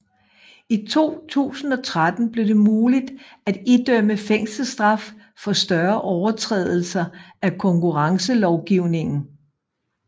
I 2013 blev det muligt at idømme fængselsstraf for større overtrædelser af konkurrencelovgivningen